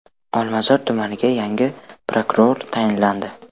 Olmazor tumaniga yangi prokuror tayinlandi.